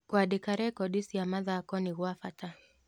Kũandĩka rekondi cia mathako nĩ gwa bata.